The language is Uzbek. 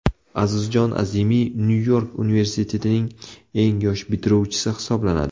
Azizjon Azimiy Nyu-York universitetining eng yosh bitiruvchisi hisoblanadi.